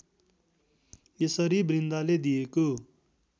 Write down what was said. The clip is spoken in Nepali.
यसरी वृन्दाले दिएको